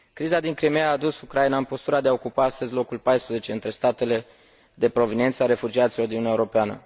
Criza din Crimeea a dus Ucraina în postura de a ocupa astăzi locul 14 între statele de proveniență a refugiaților din Uniunea Europeană.